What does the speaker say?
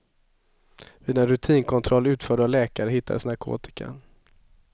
Vid en rutinkontroll utförd av läkare hittades narkotikan.